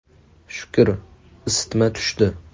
Shukr, isitma tushdi.